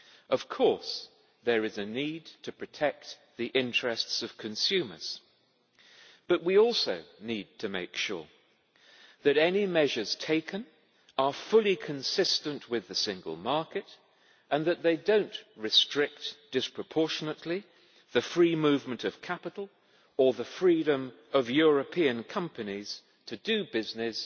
Of course, there is a need to protect the interests of consumers, but we also need to make sure that any measures taken are fully consistent with the single market and that they do not restrict disproportionately the free movement of capital or the freedom of European companies to do business